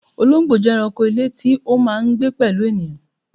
Olóńgbò jẹ́ ẹranko ilé tí ó máà ń gbé pẹ̀lú ènìyàn